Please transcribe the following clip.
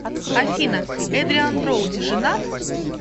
афина эдриан броуди женат